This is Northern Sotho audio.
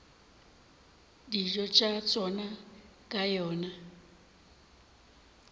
dijo tša tšona ka yona